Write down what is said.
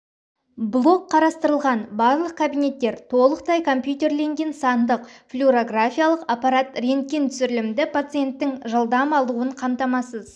блок қарастырылған барлық кабинеттер толықтай компьютерленген сандық флюорографиялық аппарат рентген түсірілімді пациенттің жылдам алуын қамтамасыз